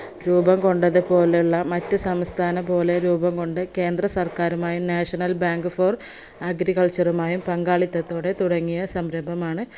രൂപം കൊണ്ടത് പോലെയുള്ളെ മറ്റ് സംസ്ഥാന പോലെ രൂപം കൊണ്ട കേന്ദ്ര സർക്കാരുമായും national bank for agriculture മായും പങ്കാളിത്തത്തോടെ തുടങ്ങിയ സംരംഭമാണ്